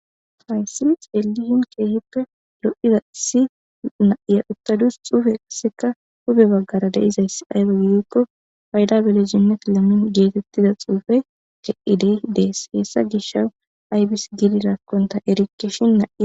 hayssi ceeli hin keehippe lo7ida si naiya uttadus xuufeseka hube baggara deizayss ayro gidikko fayda bele jimmet lemmin geetettida xuufe ce7idey dees hessa gisha aybis giliraakkonta erikke shin naa